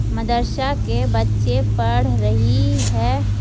मदरसा के बच्चे पढ़ रही है।